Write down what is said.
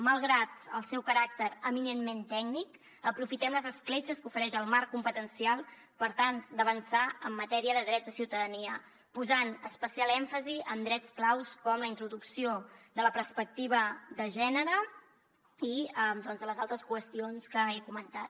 malgrat el seu caràcter eminentment tècnic aprofitem les escletxes que ofereix el marc competencial per tal d’avançar en matèria de drets de ciutadania posant especial èmfasi en drets claus com la introducció de la perspectiva de gènere i les altres qüestions que he comentat